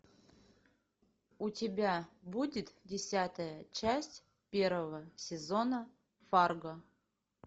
у тебя будет десятая часть первого сезона фарго